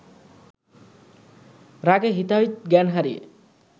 রাগে হিতাহিত জ্ঞান হারিয়ে